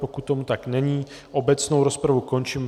Pokud tomu tak není, obecnou rozpravu končím.